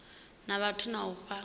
na vhathu na u fha